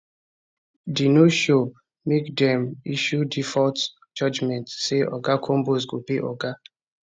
di noshow make dem issue default judgement say oga combs go pay oga